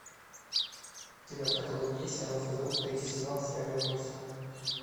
у тебя в каталоге есть сериал физрук третий сезон серия восемь